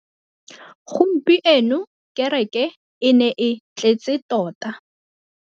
Gompieno kêrêkê e ne e tletse tota.